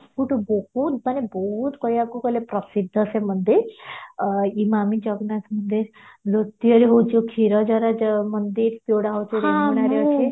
ସବୁଠୁ ବହୁତ ମାନେ ବହୁତ କହିବାକୁ ଗଲେ ପ୍ରସିଦ୍ଧ ସେ ମନ୍ଦିର ଇମାମି ଜଗନ୍ନାଥ ମନ୍ଦିର ଦ୍ଵିତୀୟରେ ହଉଚି କ୍ଷୀରଚୋରା ଯୋ ମନ୍ଦିର ସେଗୁଡା ଅଛି